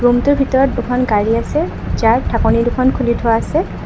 ৰূমটোৰ ভিতৰত দুখন গাড়ী আছে যাৰ ঢাকনি দুখন খুলি থোৱা আছে।